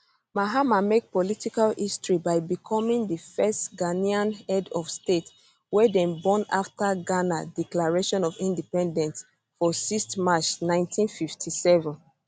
mahama make political history by becoming di first ghanaian head of state wey dem born afta ghana declaration of independence for 6th march 1957